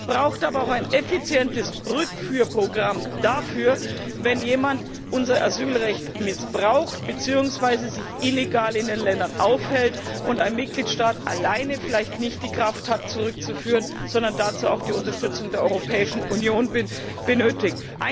Es bedarf aber auch eines effizienten Rückführprogramms für den Fall, wenn jemand unser Asylrecht missbraucht beziehungsweise sich illegal in den Ländern aufhält und ein Mitgliedstaat alleine vielleicht nicht die Kraft hat, diese Menschen zurückzuführen, sondern dazu die Unterstützung der Europäischen Union benötigt.